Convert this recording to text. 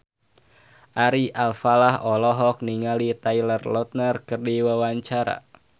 Ari Alfalah olohok ningali Taylor Lautner keur diwawancara